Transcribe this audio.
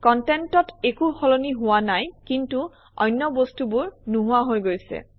কনটেণ্টত একো সলনি হোৱা নাই কিন্তু অন্য বস্তুবোৰ নোহোৱা হৈ গৈছে